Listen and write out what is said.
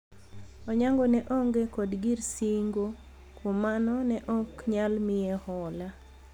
Onyango ne onge kod gir singo kuom mano ne ok nyal miye hola